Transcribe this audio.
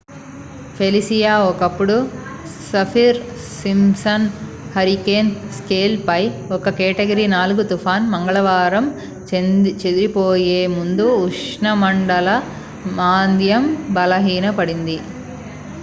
Felicia ఒకప్పుడు Saffir Simpson hurricane scale పై ఒక కేటగిరీ 4 తుఫాను మంగళవారం చేదిరిపోయే ముందు ఉష్ణమండల మాంద్యం బలహీన పడింది